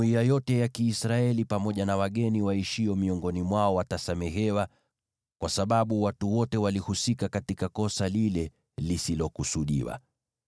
Jumuiya yote ya Kiisraeli pamoja na wageni waishio miongoni mwao watasamehewa, kwa sababu watu wote walihusika katika kosa lile lisilokusudiwa.